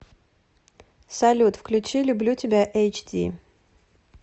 салют включи люблю тебя эйч ди